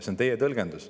See on teie tõlgendus.